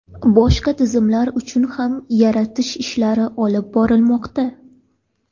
Boshqa tizimlar uchun ham yaratish ishlari olib borilmoqda.